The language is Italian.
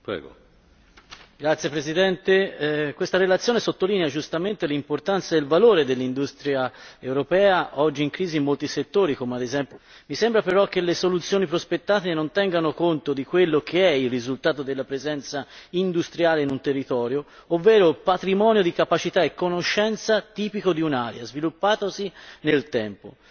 Signor Presidente, onorevoli colleghi, questa relazione sottolinea giustamente l'importanza e il valore dell'industria europea, oggi in crisi in molti settori, come ad esempio il tessile e il siderurgico. Tuttavia mi sembra che le soluzioni prospettate non tengano conto di quello che è il risultato della presenza industriale in un territorio, ovvero il patrimonio di capacità e conoscenza tipico di un'area, sviluppatosi nel tempo.